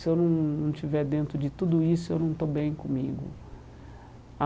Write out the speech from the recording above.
Se eu não não estiver dentro de tudo isso, eu não estou bem comigo.